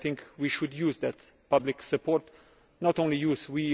We should use that public support, but not only use it